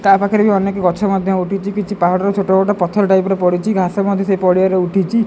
ତାପଖରେ ରେ ଅନେକ ଗଛ ମଧ୍ୟ ଉଠିଛି କିଛି ପାହାଡ ର ଛୋଟ ଛୋଟ ପଥର ଟାଇପ୍ ପଡ଼ିଛି ଘାସ ମଧ୍ଯ ଉଠିଛି।